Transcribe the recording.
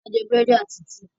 A jẹ burẹdi àti tíí.